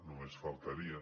només faltaria